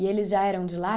E eles já eram de lá?